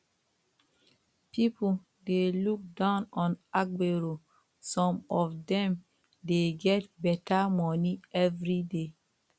pipo dey look down on agbero some of dem dey get better money everyday